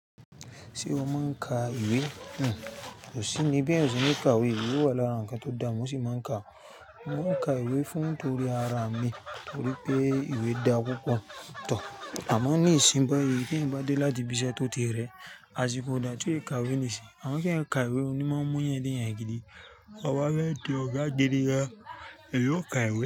Ṣé o máa ń ka ìwé? Oṣì ni bí èèyàn o ṣe ní ká ìwé, ìwé wà lára ǹkan tó da, mo ṣì máa ń ka. Mo máa ń ka ìwé fún torí ara mi, torí pé ìwé dá púpọ̀. Amọ ní ìsìn báì tí èèyàn bá dé láti ibi iṣẹ́ tó ti rẹ, asìko dá ti ó ka ìwé nísìínyi. Amọ ki èèyàn ka ìwé, òní máa mú èèyàn déyan gídí, tọ̀bafẹ di ọ̀gá gidi gan, èèyàn ó ka ìwé.